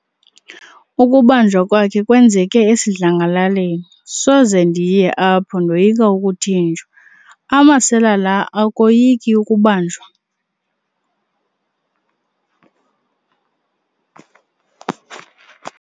Ukubanjwa kwakhe kwenzeke esidlangalaleni. soze ndiye apho ndoyika ukuthinjwa, amasela la akoyiki ukubanjwa?